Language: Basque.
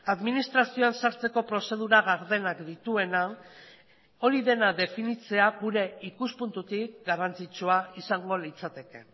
administrazioan sartzeko prozedura gardenak dituena hori dena definitzea gure ikuspuntutik garrantzitsua izango litzateke